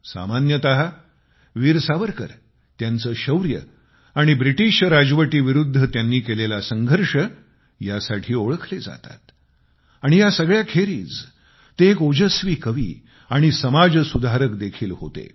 सामान्यतः वीर सावरकर त्यांचे शौर्य आणि ब्रिटीश राजवटीविरुद्ध त्यांनी केलेला संघर्ष यासाठी ओळखले जातात आणि या सगळ्याखेरीज ते एक ओजस्वी कवी आणि समाज सुधारक देखील होते